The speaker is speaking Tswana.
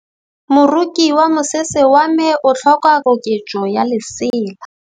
Moroki wa mosese wa me o tlhoka koketsô ya lesela.